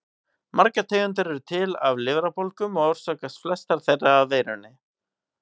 Margar tegundir eru til af lifrarbólgum og orsakast flestar þeirra af veirum.